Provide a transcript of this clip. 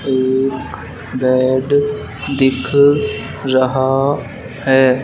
एक बेड दिख रहा है।